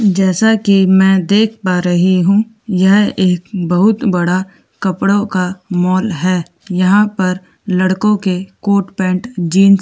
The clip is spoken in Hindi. जैसा कि में देख पा रही हूँ यह एक बहुत बड़ा कपड़ों का मॉल है यहाँ पर लड़कों के कोर्ट पैंट जीन्स --